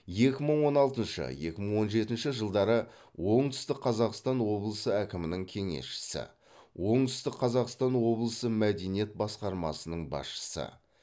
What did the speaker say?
екі мың он алтыншы екі мың он жетінші жылдары оңтүстік қазақстан облысы әкімінің кеңесшісі оңтүстік қазақстан облысы мәдениет басқармасының басшысы